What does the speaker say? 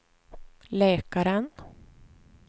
läkaren